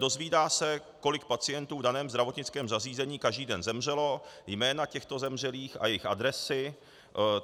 Dozvídá se, kolik pacientů v daném zdravotnickém zařízení každý den zemřelo, jména těchto zemřelých a jejich adresy.